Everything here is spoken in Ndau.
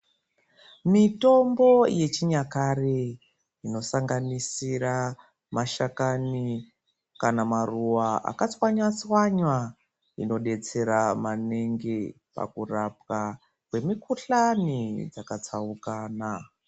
Mitombo yechinyakare inosanganisira mashakani kana maruwa akatswanywa tswanywa inodetsera maningi pakurapwa kwemukuhlani dzakatsaukana.